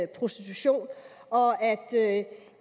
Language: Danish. prostitution og at det